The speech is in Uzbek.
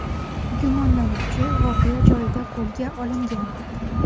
Gumonlanuvchi voqea joyida qo‘lga olingan.